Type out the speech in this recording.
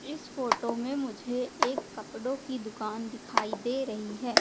इस फोटो में मुझे एक कपड़ों की दुकान दिखाई दे रही है।